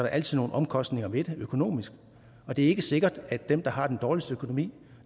altid nogle omkostninger ved det økonomisk og det er ikke sikkert at dem der har den dårligste økonomi